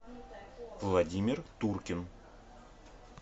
владимир туркин